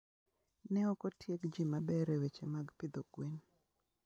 Ne ok otieg ji maber e weche mag pidho gwen.